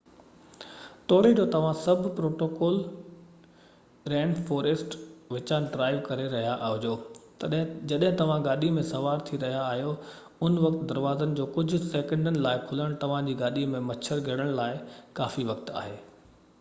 توڙي جو توهان سب ٽروپيڪل رين فوريسٽ وچان ڊرائيو ڪري رهيا هجو جڏهن توهان گاڏي ۾ سوار ٿي رهيا آهيو ان وقت دروازن جو ڪجهه سيڪنڊن لاءِ کُلڻ توهان جي گاڏي ۾ مڇر گهڙڻ لاءِ ڪافي وقت آهي